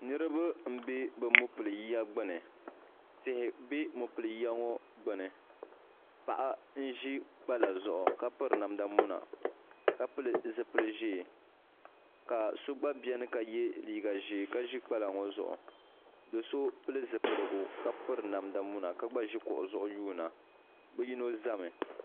Niriba m be bɛ mopili'yiya gbini tihi be mopili'yiya ŋɔ gbini paɣa n ʒi gbala zaɣa ka piri namda muna ka pili zipil'ʒee ka so gba biɛni ka ye liiga ʒee ka ʒi gbala ŋɔ zuɣu do'so pili zipiligu ka piri namda muna ka gba ʒi kuɣu zuɣu yuuna bɛ yino zami.